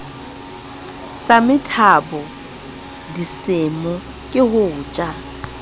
sa methabolisemo ke ho ja